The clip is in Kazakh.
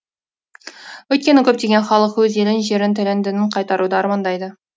өйткені көптеген халық өз елін жерін тілін дінін қайтаруды армандайды